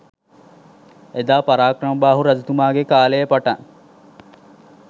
එදා පරාක්‍රමබාහු රජතුමාගේ කාලයේ පටන්